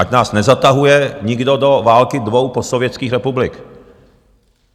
Ať nás nezatahuje nikdo do války dvou postsovětských republik!